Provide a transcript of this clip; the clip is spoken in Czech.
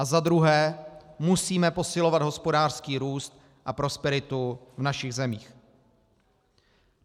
A za druhé, musíme posilovat hospodářský růst a prosperitu v našich zemích.